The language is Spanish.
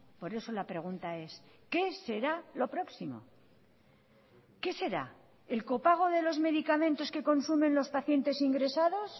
por eso la pregunta es qué será lo próximo qué será el copago de los medicamentos que consumen los pacientes ingresados